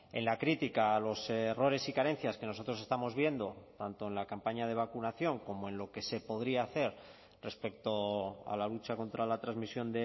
en la crítica a los errores y carencias que nosotros estamos viendo tanto en la campaña de vacunación como en lo que se podría hacer respecto a la lucha contra la transmisión